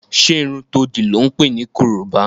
Ṣé irun to dì lọ́ ǹ pè ní korobá?